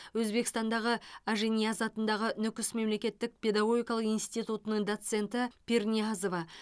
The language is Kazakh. өзбекстандағы ажинияз атындағы нүкіс мемлекеттік педагогикалық институтының доценті пирниязова